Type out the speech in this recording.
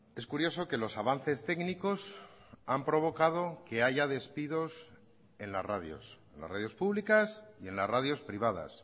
es curioso que los avances técnicos han provocado que haya despidos en las radios en las radios públicas y en las radios privadas